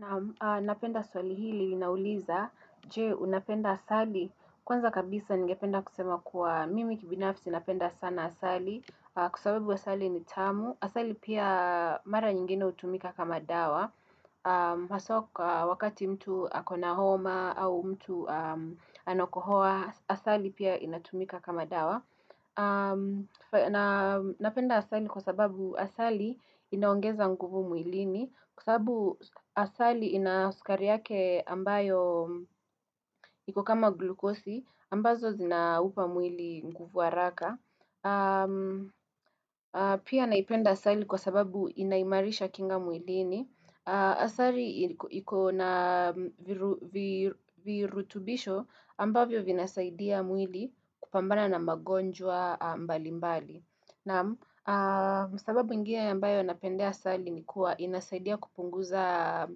Naam napenda swali hili liauliza je unapenda asali. Kwanza kabisa ningependa kusema kuwa mimi kibinafsi napenda sana asali kwa sababu asali ni tamu. Asali pia mara nyingine utumika kama dawa. Haswa kwa wakati mtu ako na homa au mtu anakohoa Asali pia inatumika kama dawa Napenda asali kwa sababu asali inaongeza nguvu mwilini Kwa sababu asali ina sukari yake ambayo iko kama glukosi ambazo zinaupa mwili nguvu haraka Pia naipenda asali kwa sababu inaimarisha kinga mwilini Asali iko na viru vi virutubisho ambavyo vinasaidia mwili kupambana na magonjwa mbali mbali Naam sababu ingne ambayo napendea asali ni kuwa inasaidia kupunguza